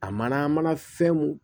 A mana mana fɛnw